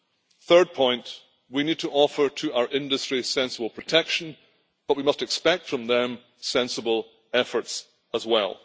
The third point we need to offer to our industry sensible protection but we must expect from them sensible efforts as well.